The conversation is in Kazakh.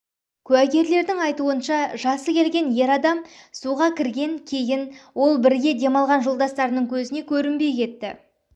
куәгерлердің айтуынша жасы келген ер адам суға кірген кейін ол бірге демалған жолдастарының көзіне көрінбей кетті